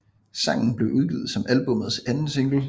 Sangen blev udgivet som albummets anden single